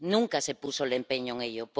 Nunca se puso el empeño en ello.